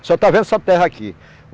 está vendo essa terra aqui.